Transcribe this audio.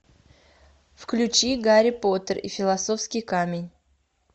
включи гарри поттер и философский камень